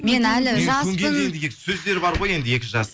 мен әлі жаспын сөздері бар ғой енді екі